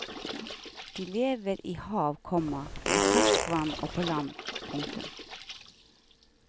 De lever i hav, komma i ferskvann og på land. punktum